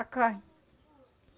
A carne.